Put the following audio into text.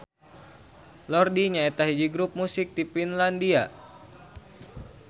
Lordi nyaeta hiji grup musik ti Finlandia.